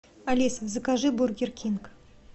алиса закажи бургер кинг